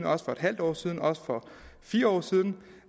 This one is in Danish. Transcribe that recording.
også for en halv år siden og også for fire år siden